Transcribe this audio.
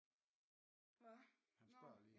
Åh nå